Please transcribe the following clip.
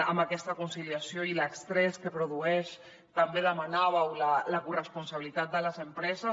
en aquesta conciliació i l’estrès que produeix també demanàveu la corresponsabilitat de les empreses